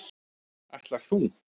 Ætlar þú.